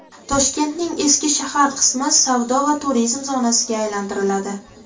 Toshkentning eski shahar qismi savdo va turizm zonasiga aylantiriladi.